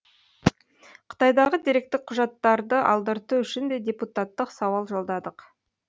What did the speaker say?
қытайдағы деректік құжаттарды алдырту үшін де депутаттық сауал жолдадық